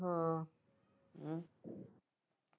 ਹਮ